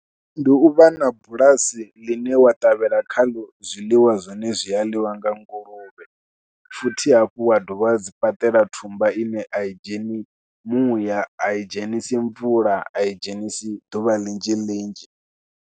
Ndi u vha na bulasi ḽine wa ṱavhela khaḽo zwiḽiwa zwine zwi a ḽiwa nga nguluvhe, futhi hafhu wa dovha hafhu wa dzi fhaṱela thumbwa ine a i dzheni muya, a i dzhenisi mvula, a i dzhenisi ḓuvha ḽinzhi ḽinzhi.